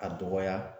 A dɔgɔya